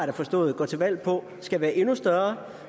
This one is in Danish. da forstået går til valg på skal være endnu større